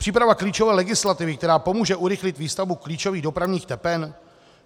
Příprava klíčové legislativy, která pomůže urychlit výstavbu klíčových dopravních tepen?